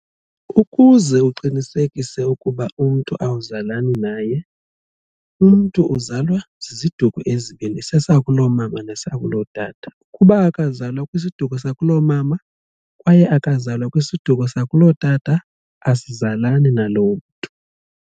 Ukuze uqinisekise ukuba umntu awuzalani naye. Umntu uzalwa ziziduko ezibini sesakulomama nesakulotata ukuba akazalwa kwisiduko sakulomama kwaye akazalwa kwisiduko sakulootata asizalani naloo mntu.